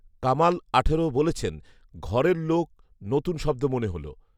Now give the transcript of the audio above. কামাল আঠারো বলেছেন, ঘরের লোক, নতুন শব্দ মনে হলো